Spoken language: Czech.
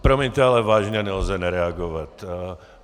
Promiňte, ale vážně nelze nereagovat.